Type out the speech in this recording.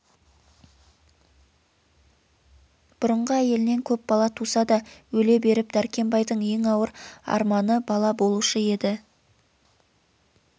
бұрынғы әйелінен көп бала туса да өле беріп дәркембайдың ең ауыр арманы бала болушы еді